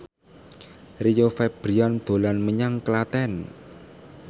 Rio Febrian dolan menyang Klaten